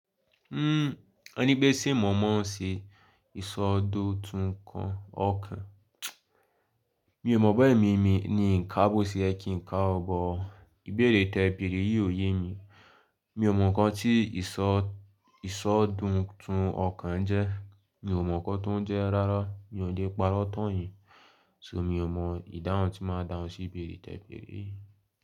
Hmm, ọní pe se mọ mọ̀ ọ́n ṣe ìsọdọ̀tun kan ọkàn. Mi ò mọ̀ boya emi mi mí ní ń ká bo se yẹ kín ń kà o bọ̀ ìbéèrè tẹ̀ béèrè yìí ò ye mi. Mi ò mọ̀ ǹkan tí ìsọ ìsọ̀dọ̀tun ọkàn jẹ́. Mi ò mọ̀ ǹkan tó ń jẹ́ rárá. Mi ò le parọ́ tán yín. Sò mi ò mọ̀ ìdáhùn tí máa dáhùn sí ìbéèrè tẹ̀ béèrè yìí.